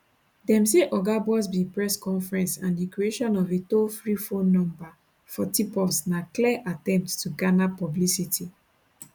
dem say oga buzbee press conference and di creation of a tollfree phone number for tipoffs na clear attempts to garner publicity